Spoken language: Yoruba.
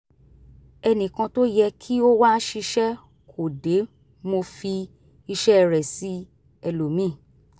ẹnì kan tó yẹ kí ó wá ṣiṣẹ́ kò dé mo fi iṣẹ́ rẹ̀ sí ẹlòmíì